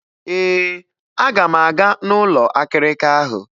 Ee, aga m aga n'ụlọ akịrịka ahụ.